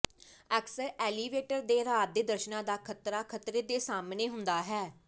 ਅਕਸਰ ਐਲੀਵੇਟਰ ਦੇ ਰਾਤ ਦੇ ਦਰਸ਼ਣਾਂ ਦਾ ਖ਼ਤਰਾ ਖਤਰੇ ਦੇ ਸਾਹਮਣੇ ਹੁੰਦਾ ਹੈ